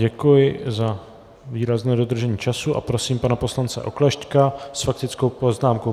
Děkuji za výrazné dodržení času a prosím pana poslance Oklešťka s faktickou poznámkou.